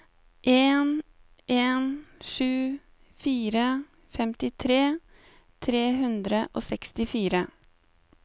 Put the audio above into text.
en en sju fire femtitre tre hundre og sekstifire